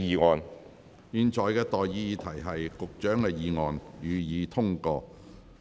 我現在向各位提出上述待決議題。